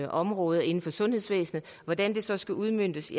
område inden for sundhedsvæsenet hvordan det så skal udmøntes